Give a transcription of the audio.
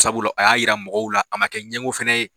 Sabula a y'a yira mɔgɔw la a ma kɛ ɲɛgo fɛnɛ ye.